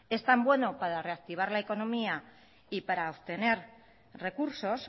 es tan bueno para reactivar la economía y para obtener recursos